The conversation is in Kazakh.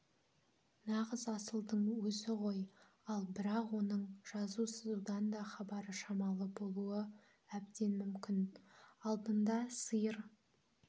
нағыз асылдың өзі ғой ал бірақ оның жазу-сызудан да хабары шамалы болуы әбден мүмкін алдында сиыр